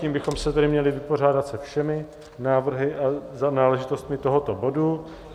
Tím bychom se tedy měli vypořádat se všemi návrhy a náležitostmi tohoto bodu.